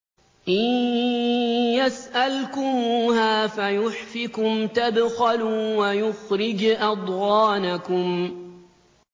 إِن يَسْأَلْكُمُوهَا فَيُحْفِكُمْ تَبْخَلُوا وَيُخْرِجْ أَضْغَانَكُمْ